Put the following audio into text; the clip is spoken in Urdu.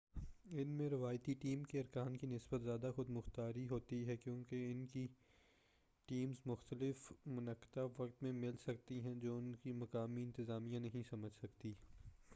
ان میں روایتی ٹیم کے ارکان کی نسبت زیادہ خود مختاری ہوتی ہے کیوں کہ ان کی ٹیمز مختلف منطقہ وقت میں مل سکتی ہیں جو ان کی مقامی انتظامیہ نہیں سمجھ سکتی